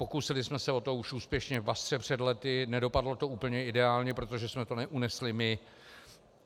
Pokusili jsme se o to už úspěšně v Basře před lety, nedopadlo to úplně ideálně, protože jsme to neunesli my.